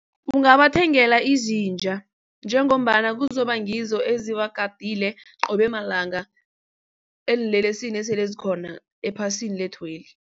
Ungabathengela izinja njengombana kuzoba ngizo ezibagadile qobe malanga eenlelesini esele zikhona ephasini lethweli.